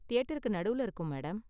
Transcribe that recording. தியேட்டருக்கு நடுவுல இருக்கும், மேடம்.